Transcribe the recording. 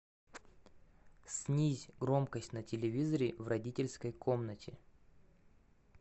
снизь громкость на телевизоре в родительской комнате